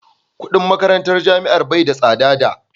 kudin makarantar jami'a bai da tsada da